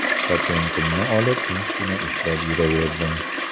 Patentimni olib, tinchgina ishlab yuraverdim.